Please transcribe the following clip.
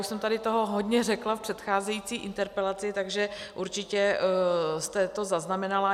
Už jsem toho tady hodně řekla v předcházející interpelaci, takže určitě jste to zaznamenala.